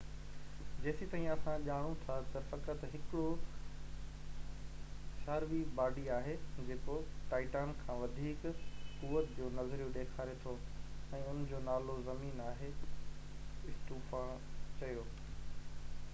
جيستائين اسان ڄاڻون ٿا ته فقط هڪڙو سياروي باڊي آهي جيڪو ٽائٽان کان وڌيڪ قوعت جونظريو ڏيکاري ٿو ۽ ان جو نالو زمين آهي اسٽوفان چيو